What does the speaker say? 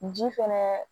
Ji fɛnɛ